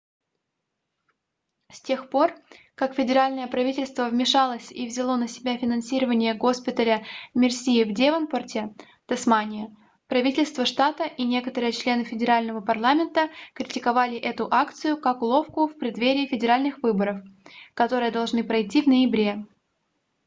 с тех пор как федеральное правительство вмешалось и взяло на себя финансирование госпиталя мерси в девонпарте тасмания правительство штата и некоторые члены федерального парламента критиковали эту акцию как уловку в преддверии федеральных выборов которые должны пройти в ноябре